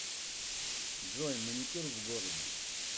джой маникюр в городе